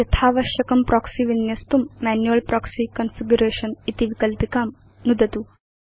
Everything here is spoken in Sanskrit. यथावश्यकं प्रोक्सी विन्यस्तुं मैन्युअल् प्रोक्सी कॉन्फिगरेशन इति विकल्पिकां नुदतु